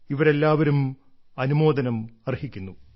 ഇവരെല്ലാവരും അനുമോദനം അർഹിക്കുന്നു